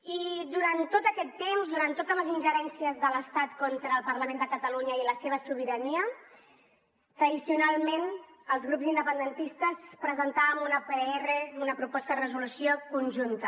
i durant tot aquest temps durant totes les ingerències de l’estat contra el parlament de catalunya i la seva sobirania tradicionalment els grups independentistes presentàvem una pdr una proposta de resolució conjunta